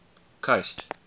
coast